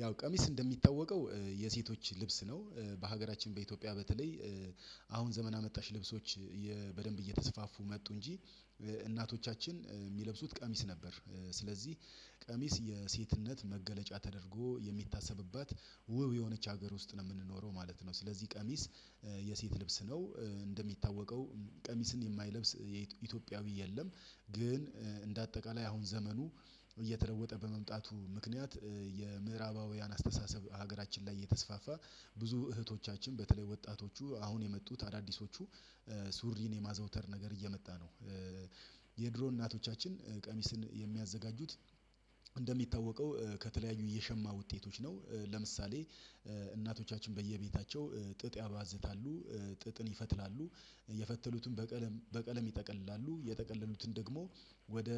ያው ቀሚስ እንደሚታወቀው የሴቶች ልብስ ነው በሀገራችን በኢትዮጵያ በተለይ አሁን ዘመን አመጣሽ ልብሶች በደንብ እየተስፋፉ መጡ እንጂ እናቶቻችን የሚለብሱት ቀሚስ ነበር ስለዚህ ቀሚስ የሴትነት መገለጫ ተደርጎ የሚታሰብባት ውብ የሆነች ሀገር ውስጥ ነው የምንኖረው ማለት ነው ስለዚህ ቀሚስ የሴት ልብስ ነው። እንደሚታወቀው ቀሚስን የማይለብስ የኢትዮጵያዊ የለም። ግን እንደ አጠቃላይ አሁን ዘመኑ እየተለወጠ በመምጣቱ ምክንያት የምዕራባውያን አስተሳሰብ ሀገራችን ላይ እየተስፋፋ ብዙ እህቶቻችን በተለይ ወጣቶቹ አሁን የመጡት አዳዲሶቹ ሱሪን የማዘውተር ነገር እየመጣ ነው። የድሮ እናቶቻችን ቀሚስን የሚያዘጋጁት እንደሚታወቀው ከተለያዩ የሸማ ውጤቶች ነው። ለምሳሌ እናቶቻችን በየቤታቸው ጥጥ ያባዝታሉ ጥጥን ይፈትላሉ የፈተሉትን በቀለም በቀለም ይጠቀልላሉ የጠቀለሉትን ደግሞ ወደ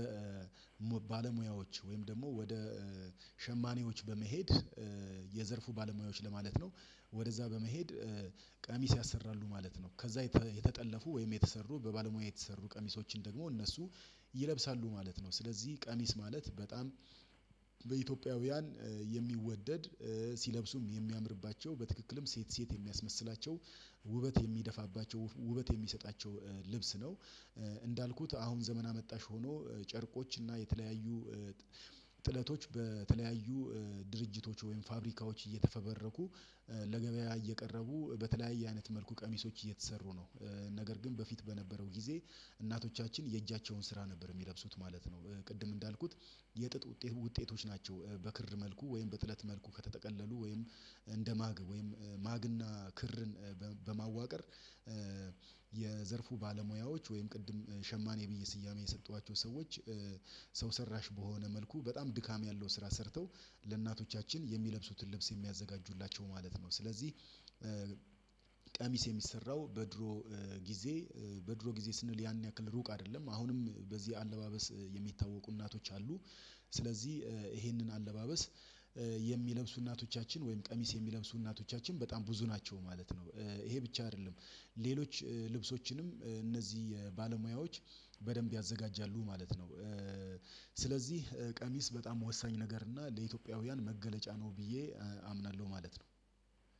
ባለሙያዎች ወይም ደግሞ ወደ ሸማኔዎች በመሄድ የዘርፉ ባለሙያዎች ለማለት ነው። ወደዛ በመሄድ ቀሚስ ያሰራሉ ማለት ነው። ከዛ የተጠለፉ ወይም የተሰሩ በባለሙያ የተሰሩ ቀሚሶችን ደግሞ እነሱ ይለብሳሉ ማለት ነው። ስለዚህ ቀሚስ ማለት በጣም በኢትዮጵያውያን የሚወደድ ሲለብሱም የሚያምርባቸው በትክክልም ሴት ሴት የሚያስመስላቸው ውበት የሚደፋባቸው ውበት የሚሰጣቸው ልብስ ነው። እንዳልኩት አሁን ዘመን አመጣሽ ሆኖ ጨርቆች እና የተለያዩ ጥለቶች በተለያዩ ድርጅቶች ወይም ፋብሪካዎች እየተፈበረኩ ለገበያ እየቀረቡ በተለያየ አይነት መልኩ ቀሚሶች እየተሰሩ ነው። ነገር ግን በፊት በነበረው ጊዜ እናቶቻችን የእጃቸውን ስራ ነበር የሚለብሱት ማለት ነው። ቅድም እንዳልኩት የጥጥ ውጤት ውጤቶች ናቸው በክር መልኩ ወይም በጥለት መልኩ ከተጠቀለሉ ወይም እንደ ማግ ወይም ማግና ክርን በማዋቀር የዘርፉ ባለሙያዎች ወይም ቅድም ሸማኔ ብዬ ስያሜ የሰጠኋቸው ሰዎች ሰው ሰራሽ በሆነ መልኩ በጣም ድካም ያለው ስራ ሰርተው ለእናቶቻችን የሚለብሱትን ልብስ የሚያዘጋጁላቸው ማለት ነው። ስለዚህ ቀሚስ የሚሰራው በድሮ ጊዜ በድሮ ጊዜ ስንል ያን ያክል ሩቅ አይደለም አሁንም በዚህ አለባበስ የሚታወቁ እናቶች አሉ። ስለዚህ ይሄንን አለባበስ የሚለብሱ እናቶቻችን ወይም ቀሚስ የሚለብሱ እናቶቻችን በጣም ብዙ ናቸው ማለት ነው። ይሄ ብቻ አይደለም ሌሎች ልብሶችንም እነዚህ የ ባለሙያዎች በደንብ ያዘጋጃሉ ማለት ነው። ስለዚህ ቀሚስ በጣም ወሳኝ ነገር እና ለኢትዮጵያውያን መገለጫ ነው ብዬ አምናለሁ ማለት ነው።